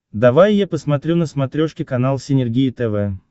давай я посмотрю на смотрешке канал синергия тв